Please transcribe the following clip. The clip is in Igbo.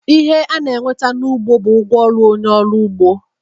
Ihe a na-enweta n'ugbo, bụ ụgwọ ọrụ onye ọrụ ugbo.